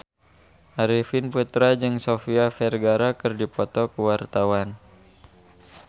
Arifin Putra jeung Sofia Vergara keur dipoto ku wartawan